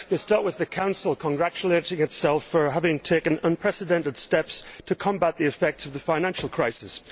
They start with the Council congratulating itself for having taken unprecedented steps to combat the effects of the financial crisis.